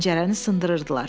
Pəncərəni sındırırdılar.